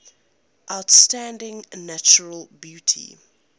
outstanding natural beauty